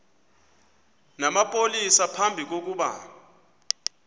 namapolisa phambi kokuba